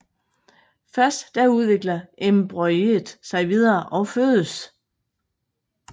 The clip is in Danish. Først da udvikler embryoet sig videre og fødes